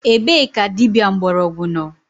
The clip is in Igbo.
Ebe ka dịbịa mgborogwu nọ?